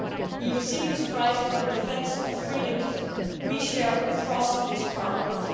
He received this prize for the defence of freedoms we share across this Parliament.